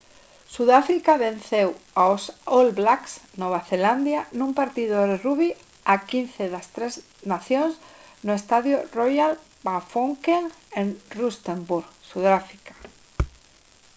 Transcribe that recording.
sudáfrica venceu aos all blacks nova zelandia nun partido de rugby a 15 das tres nacións no estadio royal bafokeng en rustenburg sudáfrica